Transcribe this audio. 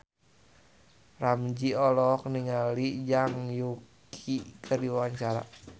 Ramzy olohok ningali Zhang Yuqi keur diwawancara